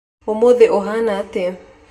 Ũmũthĩ ũhana atĩa